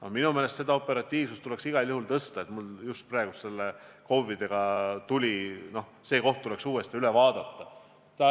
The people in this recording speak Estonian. Aga minu meelest seda operatiivsust tuleks igal juhul suurendada – mul just praegu nende KOV-idega seoses tuli see meelde –, see koht tuleks uuesti üle vaadata.